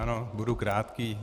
Ano, budu krátký.